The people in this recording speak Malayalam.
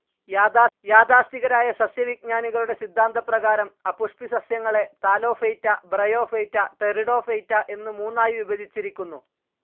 യാഥാസ്ഥിതികരായ സസ്യവിജ്ഞാനികളുടെ സിദ്ധാന്തപ്രകാരം അപുഷ്പിസസ്യങ്ങളെ താലോഫൈറ്റ, ബ്രയോഫൈറ്റ, ടെറിഡോഫൈറ്റ എന്ന് മൂന്നായി വിഭജിച്ചിരിക്കുന്നു.